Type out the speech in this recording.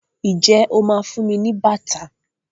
ìje ọ má fún ní bàtà?